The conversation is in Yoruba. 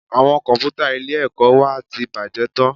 Àwọn Kọ̀m̀pútà ilé-ẹ̀kọ́ wa ti bàjẹ́ tán